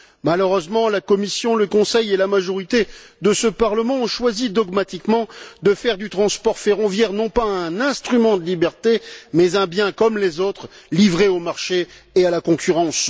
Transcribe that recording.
Malheureusement, la Commission, le Conseil et la majorité de ce Parlement ont choisi dogmatiquement de faire du transport ferroviaire non pas un instrument de liberté, mais un bien comme les autres, livré au marché et à la concurrence.